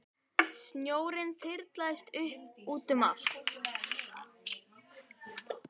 Snjórinn þyrlaðist upp og út um allt.